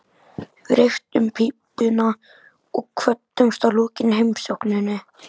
Við reyktum pípuna og kvöddumst að lokinni heimsókninni.